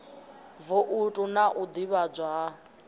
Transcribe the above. voutu na u ḓivhadzwa ha